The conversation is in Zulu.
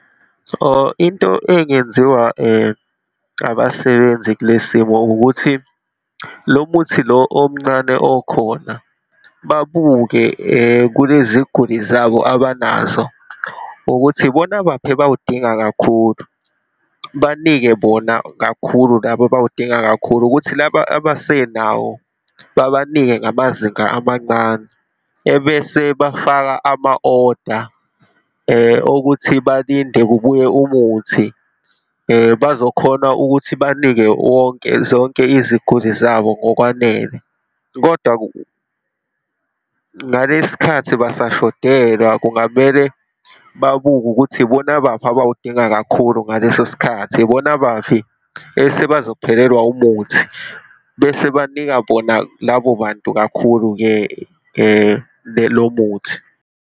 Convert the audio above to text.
Or into engenziwa abasebenzi kule simo ukuthi, lo muthi lo omncane okhona babuke kuleziguli zabo abanazo ukuthi, ibona baphi abawudinga kakhulu. Banike bona kakhulu labo abawudinga kakhulu, ukuthi laba abasenawo babanike ngamazinga amancane, ebese bafaka ama-oda okuthi balinde kubuye umuthi, bazokhona ukuthi banike wonke, zonke iziguli zabo ngokwanele. Kodwa ngalesi khathi basashodelwa, kungamele babuke ukuthi, ibona baphi abawudinga kakhulu ngaleso sikhathi, ibona baphi esebazophelelwa umuthi. Bese banika bona labo bantu, kakhulu-ke lo muthi.